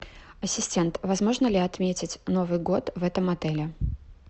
ассистент возможно ли отметить новый год в этом отеле